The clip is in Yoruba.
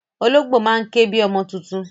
Ológbò máa ń ké bi ọmọ tuntun.